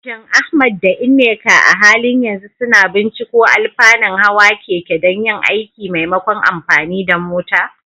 Shin Ahmad da Nneka a halin yanzu suna binciko alfanun hawan keke don yin aiki maimakon amfani da mota?